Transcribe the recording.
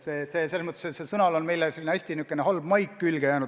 Sellel sõnal on aga niisugune hästi halb maik küljes.